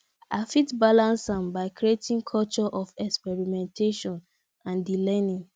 i fit balance am by creating culture of experimentation and di learning